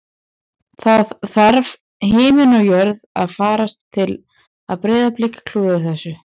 Það þarf himinn og jörð að farast til að Breiðablik klúðri þessu